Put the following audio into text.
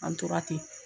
An tora ten